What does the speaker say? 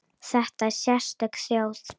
Þetta er sérstök þjóð.